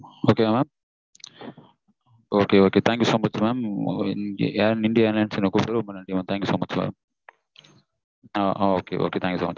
okay வா mamokay okay thank you so much mam இங்க நீங்க என்ன தொந்தரவு பண்ணாதிதீங்க thank you so much mam